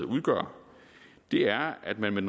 udgør er at man med